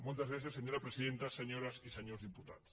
moltes gràcies senyora presidenta senyores i senyors diputats